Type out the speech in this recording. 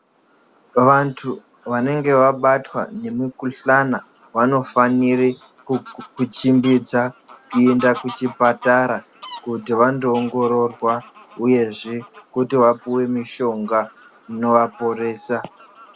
Vantu vanenge wabatwa nemukuhlana vanofanire kuchipmbidza kuenda kuchipatara kuti vandoongororwa uyezve kuti vapuwe mushonga unowaporesa.